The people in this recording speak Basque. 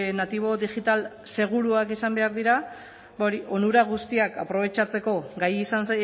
natibo digital seguruak izan behar dira onura guztiak aprobetxatzeko gai izan